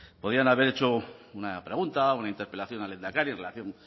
podían haber hecho una pregunta una interpelación al lehendakari en relación